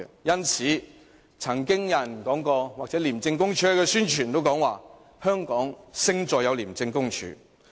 因此，曾經有人說過，或者廉署宣傳時也說過：香港勝在有 ICAC。